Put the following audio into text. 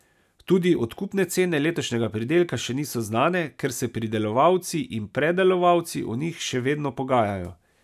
Tudi odkupne cene letošnjega pridelka še niso znane, ker se pridelovalci in predelovalci o njih še vedno pogajajo.